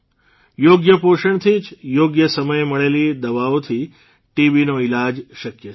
યોગ્ય પોષણથી જ યોગ્ય સમયે મળેલી દવાઓથી ટીબીનો ઇલાજ શક્ય છે